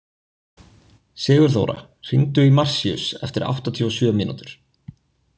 Sigurþóra, hringdu í Marsíus eftir áttatíu og sjö mínútur.